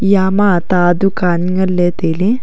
yama ta dukan nganley tailey.